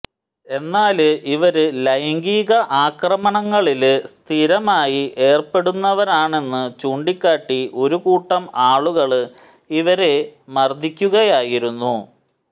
എന്നാല് ഇവര് ലൈംഗിക ആക്രമണങ്ങളില് സ്ഥിരമായി ഏര്പ്പെടുന്നവരാണെന്ന് ചൂണ്ടിക്കാട്ടി ഒരു കൂട്ടം ആളുകള് ഇവരെ മര്ദിക്കുകയായിരുന്നു